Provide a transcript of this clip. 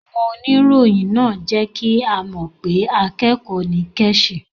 Àwon onirọ̀yìn náà jẹ́ kí á mọ́ pé àkẹ́kọ̀ nì Kẹ́chì